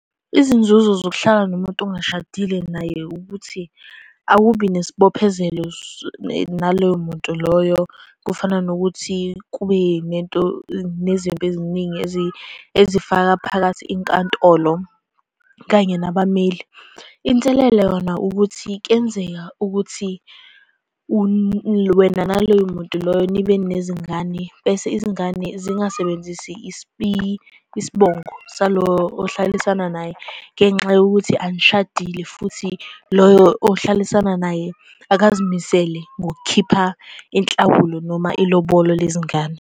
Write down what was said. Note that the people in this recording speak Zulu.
Izinzuzo zokuhlala nomuntu ongashadile naye ukuthi akubi nesibophezelo naloyo muntu loyo, kufana nokuthi kube nento, nezimpi eziningi ezifaka phakathi inkantolo kanye nabameli. Inselelo yona ukuthi kuyenzeka ukuthi wena naloyo muntu loyo nibe nezingane, bese izingane zingasebenzisi isibongo salo ohlalisana naye ngenxa yokuthi anishadile, futhi loyo ohlalisana naye akazimisele ngokukhipha inhlawulo noma ilobolo lezingane.